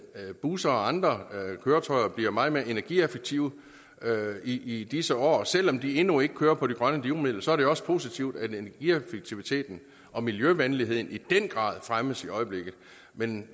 at busser og andre køretøjer bliver meget mere energieffektive i i disse år og selv om de endnu ikke kører på de grønne drivmidler er det jo også positivt at energieffektiviteten og miljøvenligheden i den grad fremmes i øjeblikket men